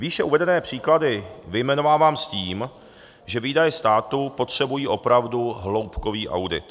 Výše uvedené příklady vyjmenovávám s tím, že výdaje státu potřebují opravdu hloubkový audit.